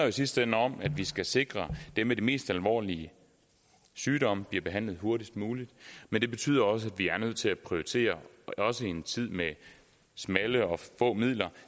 i sidste ende om at vi skal sikre at dem med de mest alvorlige sygdomme bliver behandlet hurtigst muligt men det betyder også at vi er nødt til at prioritere også i en tid med smalle og få midler